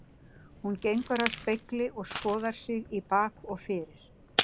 Hún gengur að spegli og skoðar sig í bak og fyrir.